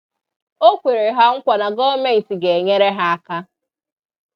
O kwere ha nkwa na gọọmenti ga-enyere ha aka